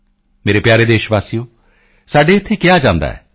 ਮੇਰੇ ਪਿਆਰੇ ਦੇਸ਼ਵਾਸੀਓ ਸਾਡੇ ਇੱਥੇ ਕਿਹਾ ਜਾਂਦਾ ਹੈ